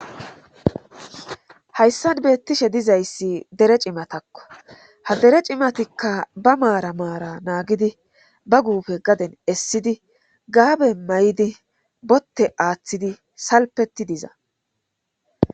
Hayssan beettishe dizayssi dere cimatakko ha dere cimatikka ba maara maara naagidi ba guufe gaden essidi gaabe may'idi botte aaththidi salpeti diza.